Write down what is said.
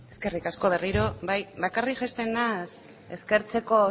eskerrik asko berriro bai bakarrik jaisten naiz eskertzeko